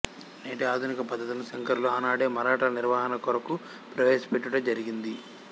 నేటి ఆధునిక పద్ధతులను శంకరులు ఆనాడే మఠాల నిర్వహణ కొరకు ప్రవేశపెట్టుట జరిగింది